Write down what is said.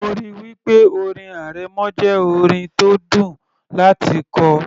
mo ríi wí pé orin arẹmọ jẹ́ orin tó dùn láti kọ